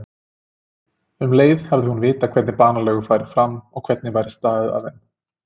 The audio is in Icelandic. Um leið hefði hún vitað hvernig banalegur færu fram og hvernig væri staðið að þeim.